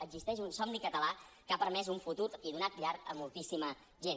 existeix un somni català que ha permès un futur i donat llar a moltíssima gent